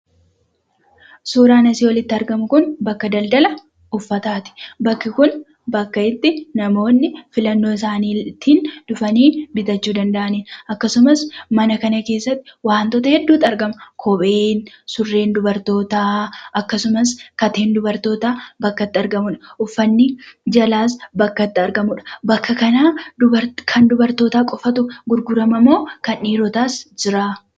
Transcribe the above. Suuraan asii olitti argamu kun bakka daldala uffataati. Bakki kun bakka itti namoonni filanno isaaniitin dhufanii bitachuu danda'anidha. Akkasumas mana kana keessatti wantoota hedduutu argama. Innis kophee, surree dubartootaa akkasumas kateen dubartootaa bakka itti argamudha. Uffanni jalaas bakka itti argamudha. Bakka kana kan dubartootaa qofatu gurgurama moo kan dhiiirootaas jira?